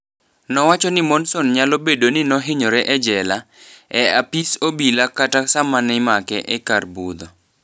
Nowacho ni Monson nyalo bedo ni nohinyore e jela, e apis obila kata sama nimake e kar budho.